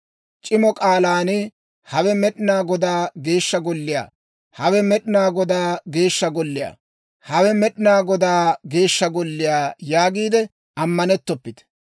C'imo k'aalan, Hawe Med'inaa Godaa Geeshsha Golliyaa! Hawe Med'inaa Godaa Geeshsha Golliyaa! Hawe Med'inaa Godaa Geeshsha Golliyaa yaagiide ammanettoppite.